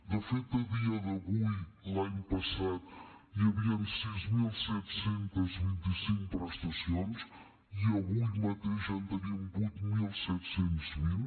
de fet a dia d’avui l’any passat hi havien sis mil set cents i vint cinc prestacions i avui mateix en tenim vuit mil set cents i vint